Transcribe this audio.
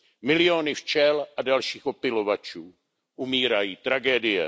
Miliony včel a dalších opylovačů umírají, tragédie.